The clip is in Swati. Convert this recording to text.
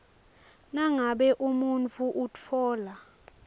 nangabe umuntfu utfola